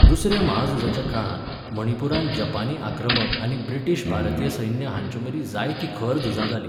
दुसऱ्या म्हाझुजाच्या काळांत मणिपूरांत जपानी आक्रमक आनी ब्रिटीश भारतीय सैन्य हांचेमदीं जायतीं खर झुजां जालीं.